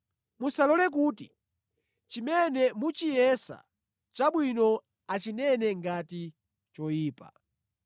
Musalole kuti chimene muchiyesa chabwino achinene ngati choyipa.